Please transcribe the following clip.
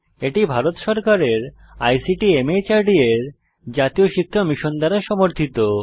এটি ভারত সরকারের ICT MHRD এর জাতীয় শিক্ষা মিশন দ্বারা সমর্থিত